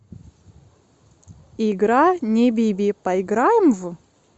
игра небиби поиграем в